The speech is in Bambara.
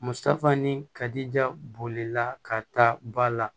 Musafani kadi ja bolila ka taa ba la